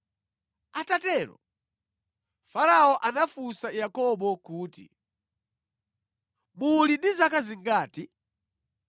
Atatero, Farao anafunsa Yakobo kuti, “Muli ndi zaka zingati?”